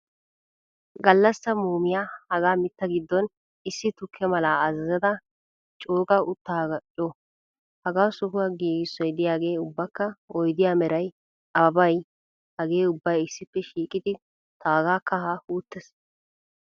Gallassa muumiya hagaa mittaa giddon issi tukke malaa azazada cooga uttaagiyaakko co.Hagaa sohuwaa giigisso diyaage ubbakka oydiya meretay, ababay hagee ubbay issippe shiiqidi taaga kahaa wuttees.